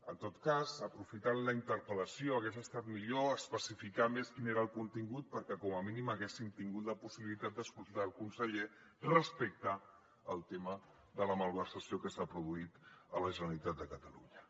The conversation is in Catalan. en tot cas aprofitant la interpel·lació hagués estat millor especificar més quin era el contingut perquè com a mínim haguéssim tingut la possibilitat d’escoltar el conseller respecte al tema de la malversació que s’ha produït a la generalitat de catalunya